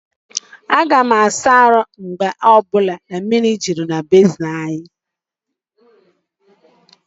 Aga m asa ahụ mgbe ọ bụla mmiri juru na bezin ahu.